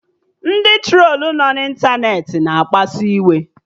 Ndị trolu nọ na ịntanetị na-akpasu iwe